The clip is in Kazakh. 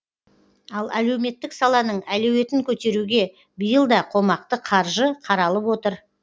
ал әлеуметтік саланың әлеуетін көтеруге биыл да қомақты қаржы қаралып отыр